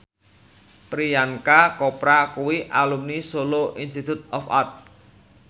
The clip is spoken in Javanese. Priyanka Chopra kuwi alumni Solo Institute of Art